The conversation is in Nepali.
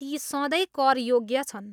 ती सधैँ कर योग्य छन्।